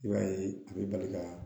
I b'a ye a bɛ bali ka